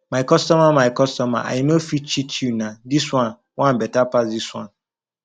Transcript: my customer my customer i no fit cheat you nah this one one better pass this one